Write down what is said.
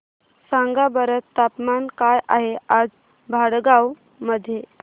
सांगा बरं तापमान काय आहे आज भडगांव मध्ये